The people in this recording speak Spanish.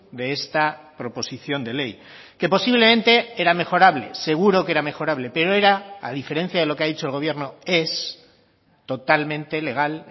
de esta proposición de ley que posiblemente era mejorable seguro que era mejorable pero era a diferencia de lo que ha dicho el gobierno es totalmente legal